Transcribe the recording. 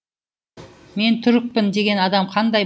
мен түрікпін деген адам қандай